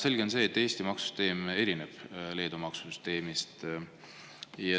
Selge on see, et Eesti maksusüsteem erineb Leedu maksusüsteemist.